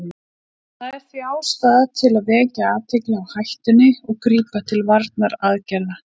Það er því ástæða til að vekja athygli á hættunni og grípa til varnaraðgerða.